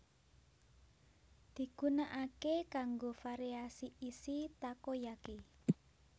Digunakake kanggo variasi isi takoyaki